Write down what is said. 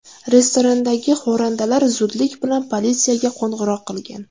Restorandagi xo‘randalar zudlik bilan politsiyaga qo‘ng‘iroq qilgan.